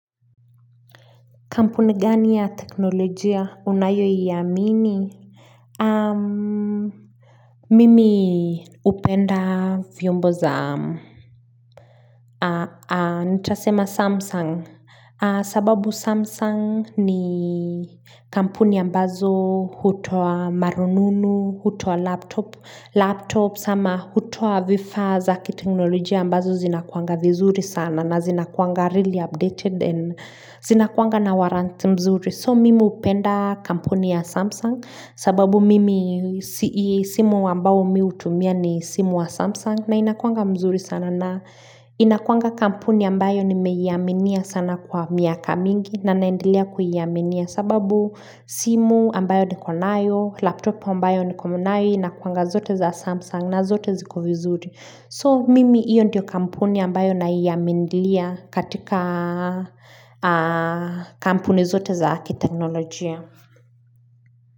Kampuni gani ya teknolojia unayoiamini mimi hupenda vyombo za nitasema samsung sababu samsung ni kampuni ambazo hutoa marununu hutoa laptop laptop ama hutoa vifaa za kiteknolojia ambazo zinakuanga vizuri sana na zinakuwanga really updated and zinakuanga na warrant mzuri So mimi hupenda kampuni ya Samsung sababu mimi simu ambao mi hutumia ni simu wa Samsung na inakuanga mzuri sana na inakuanga kampuni ambayo nimeiaminia sana kwa miaka mingi na naendelea kuiaminia sababu simu ambayo niko nayo, laptop ambayo niko nayo inakuwanga zote za Samsung na zote ziko vizuri. So mimi iyo ndio kampuni ambayo naiaminia katika kampuni zote za kiteknolojia.